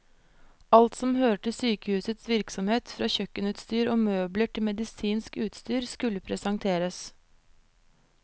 Alt som hører til sykehusets virksomhet, fra kjøkkenutstyr og møbler til medisinsk utstyr, skulle presenteres.